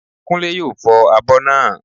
Kúnlé yóò fọ abọ́ naa